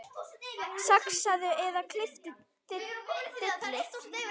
Saxaðu eða klipptu dillið.